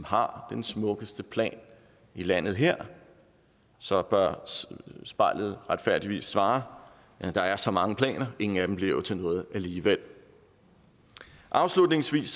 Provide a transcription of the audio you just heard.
har den smukkeste plan i landet her så bør spejlet retfærdigvis svare der er så mange planer ingen af dem bliver til noget alligevel afslutningsvis